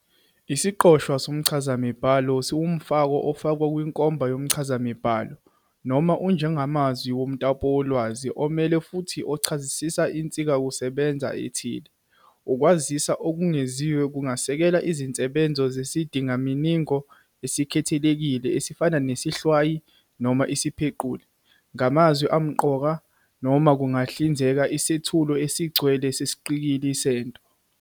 Isiqoshwa somchazamibhalo siwumfako ofakwa kwinkomba yomchazamibhalo, noma ujengamazwi lomtapolwazi, omele futhi ochazisa insizakusebenza ethile. Ukwaziswa okwengeziwe kungasekela izinsebenzo zesizindamininingo esikhethekile esifana nesihlwayi, noma isiphequli, ngamazwi amqoka, noma kungahlinzeka isethulo esigcwele sesiqikili sento.